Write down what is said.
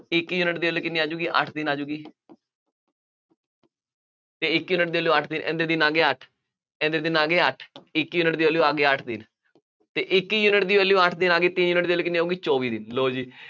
ਇੱਕ ਯੂਨਿਟ ਦੀ value ਕਿੰਨੀ ਆ ਜਾਊਗੀ, ਅੱਠ ਦਿਨ ਆ ਜਾਊਗੀ, ਅਤੇ ਇੱਕ ਯੂਨਿਟ ਦੀ value ਅੱਠ ਦਿਨ, ਇਹਦੇ ਦਿਨ ਆ ਗਏ ਅੱਠ ਇਹਦੇ ਦਿਨ ਆ ਗਏ ਅੱਠ, ਇੱਕ ਯੂਨਿਟ ਦੀ value ਆ ਗਈ, ਅੱਠ ਦਿਨ ਅਤੇ ਇੱਕ ਯੂਨਿਟ ਦੀ value ਅੱਠ ਦਿਨ ਆ ਗਈ, ਤਿੰਨ ਯੂਨਿਟ ਦੀ value ਕਿੰਨੀ ਆਊਗੀ, ਚੌਵੀ ਦਿਨ. ਲਉ ਜੀ